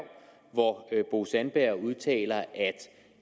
hvor bo sandberg udtaler